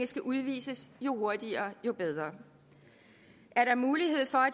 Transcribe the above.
skal udvises jo hurtigere jo bedre er der mulighed for